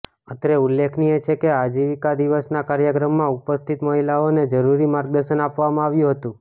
અત્રે ઉલ્લેખનિય છે કે આજીવીકા દિવસના કાર્યક્રમમાં ઉપસ્થિત મહિલાઓને જરૂરી માર્ગદર્શન આપવામાં આવ્યુ હતુ